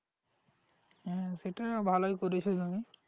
হ্যাঁ সেটাই ভালোই করেছো তুমি